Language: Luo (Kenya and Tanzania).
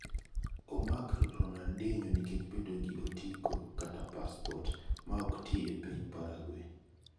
Omaki Ronaldhinho nikech bedo gi otiko(passport) ma ok ti e piny Paraguay.